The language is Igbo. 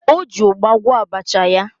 O ji ụgba gwọọ abacha ya.